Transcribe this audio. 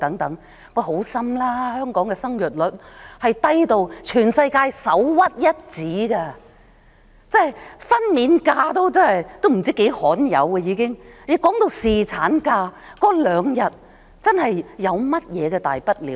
放心，香港的生育率低到全世界首屈一指，分娩假已相當罕有，增加兩天侍產假有何大不了？